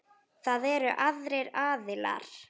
Það eru aðrir aðilar.